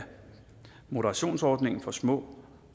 moderationsordningen for små